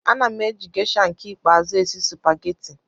Ana m eji Gesha nke ikpeazụ esi supageti.